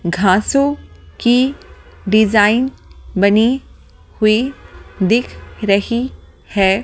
घासों की डिजाइन बनी हुई दिख रही है।